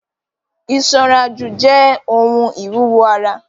Isanraju jẹ ohun iwuwo ara.